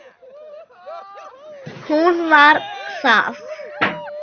Hún var það.